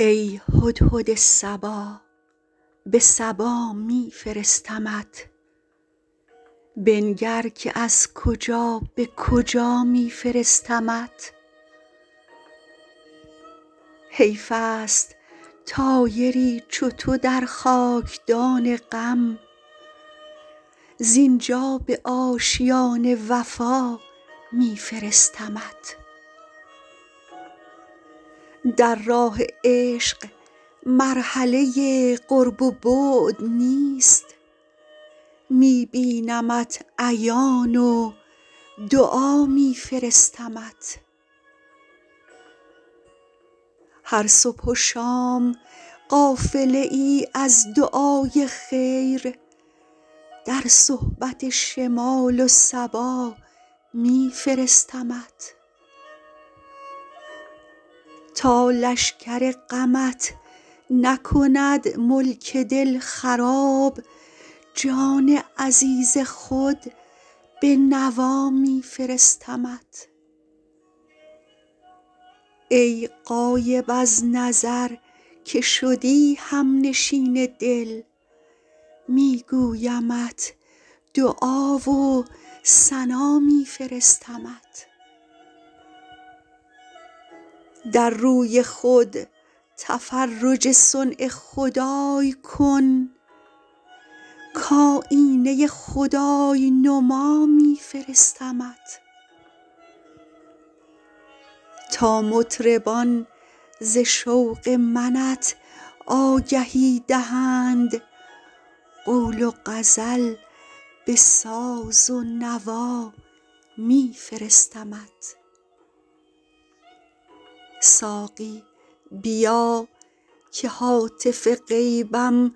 ای هدهد صبا به سبا می فرستمت بنگر که از کجا به کجا می فرستمت حیف است طایری چو تو در خاک دان غم زین جا به آشیان وفا می فرستمت در راه عشق مرحله قرب و بعد نیست می بینمت عیان و دعا می فرستمت هر صبح و شام قافله ای از دعای خیر در صحبت شمال و صبا می فرستمت تا لشکر غمت نکند ملک دل خراب جان عزیز خود به نوا می فرستمت ای غایب از نظر که شدی هم نشین دل می گویمت دعا و ثنا می فرستمت در روی خود تفرج صنع خدای کن کآیینه خدای نما می فرستمت تا مطربان ز شوق منت آگهی دهند قول و غزل به ساز و نوا می فرستمت ساقی بیا که هاتف غیبم